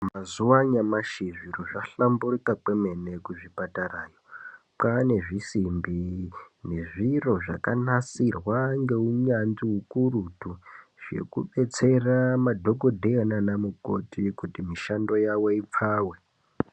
Mazuwa anyamashi zviro zvahlamburika kwemene kuzvipatara kwaane zvisimbi nezviro zvakanasirwa ngeunyanzvi ukurutu zvekudetsera madhokodheya nana mukoti kuti mushando yawo ipfawe.